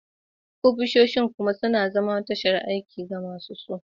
Ofisoshin kuma suna zama tashar aiki ga masu su